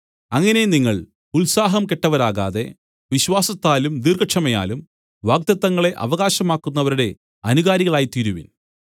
അങ്ങനെ നിങ്ങൾ ഉത്സാഹം കെട്ടവരാകാതെ വിശ്വാസത്താലും ദീർഘക്ഷമയാലും വാഗ്ദത്തങ്ങളെ അവകാശമാക്കുന്നവരുടെ അനുകാരികളായിത്തീരുവിൻ